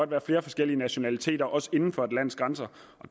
være flere forskellige nationaliteter også inden for et lands grænser